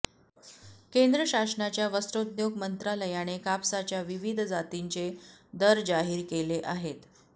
केंद्र शासनाच्या वस्त्रोद्योग मंत्रालयाने कापसाच्या विविध जातींचे दर जाहीर केले आहेत